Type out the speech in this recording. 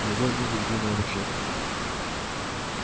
в любой миг жди новых жертв